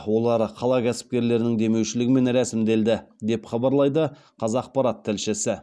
олар қала кәсіпкерлерінің демеушілігімен рәсімделді деп хабарлайды қазақпарат тілшісі